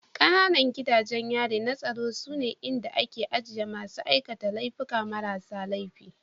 Ƙananan gidajen yari na tsaro sune inda ake ajiye masu aikata laifuka marasa laifi